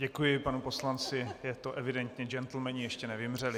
Děkuji panu poslanci, je to evidentní, džentlmeni ještě nevymřeli.